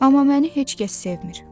Amma məni heç kəs sevmir.